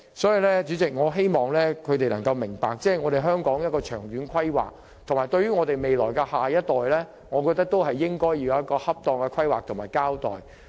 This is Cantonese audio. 所以，主席，我希望他們能夠明白，對於香港的長遠發展和我們的下一代，我們要有恰當的規劃和交代。